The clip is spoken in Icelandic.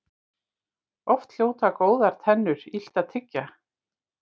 Oft hljóta góðar tennur illt að tyggja.